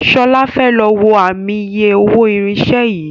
Shola fè ló wọ Ààmì iye owó irinṣẹ́ yí.